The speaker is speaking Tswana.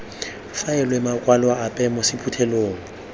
faelwe makwalo ape mo sephuthelong